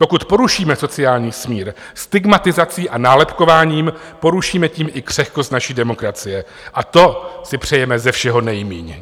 Pokud porušíme sociální smír stigmatizací a nálepkováním, porušíme tím i křehkost naší demokracie a to si přejeme ze všeho nejmíň!